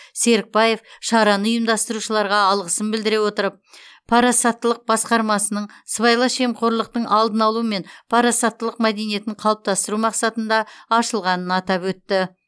серікбаев шараны ұйымдастырушыларға алғысын білдіре отырып парасаттылық басқармасының сыбайлас жемқорлықтың алдын алу мен парасаттылық мәдениетін қалыптастыру мақсатында ашылғанын атап өтті